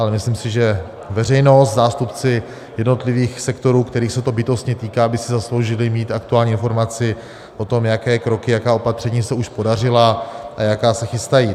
Ale myslím si, že veřejnost, zástupci jednotlivých sektorů, kterých se to bytostně týká, by si zasloužili mít aktuální informaci o tom, jaké kroky, jaká opatření se už podařila a jaká se chystají.